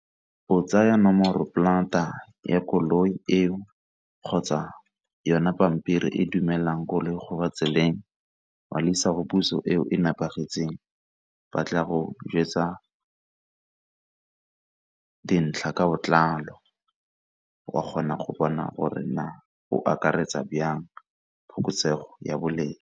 O tsaya nomoropolata ya koloi eo kgotsa yona pampiri e dumelang koloi go ba tseleng, wa le isa go puso eo e nepagetseng ba tla go jwetsa dintlha ka botlalo wa kgona go bona gore na go akaretsa jang phokotsego ya boleng.